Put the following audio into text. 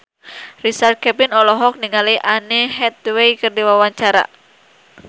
Richard Kevin olohok ningali Anne Hathaway keur diwawancara